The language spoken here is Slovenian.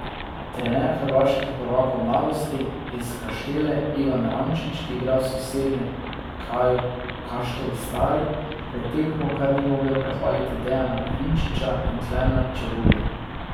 Trener hrvaških prvakov Mladosti iz Kaštele Ivan Rančič, ki igra v sosednjem kraju Kaštel Stari, pred tekmo kar ni mogel prehvaliti Dejana Vinčiča in Klemna Čebulja.